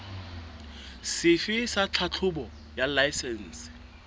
sefe sa tlhahlobo ya laesense